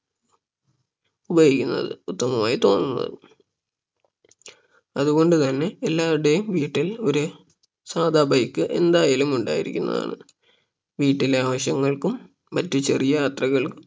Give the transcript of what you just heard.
ഉപയോഗിക്കാൻ ഉത്തമമായിട്ട് തോന്നുന്നത് അതുകൊണ്ട് തന്നെ എല്ലാവരുടെയും വീട്ടിൽ ഒര് സാധാ bike എന്തായാലും ഉണ്ടായിരിക്കുന്നതാണ് വീട്ടിലെ ആവശ്യങ്ങൾക്കും മറ്റ് ചെറിയ യാത്രകൾക്കും